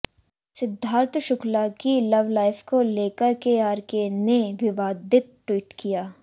सिद्धार्थ शुक्ला की लवलाइफ को लेकर केआरके ने विवादित ट्वीट किया